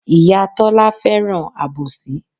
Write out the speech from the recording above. Ìyá Tọ́lá fẹ́ràn àbòsí.